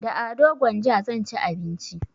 Da ado gwanja zan ci abinci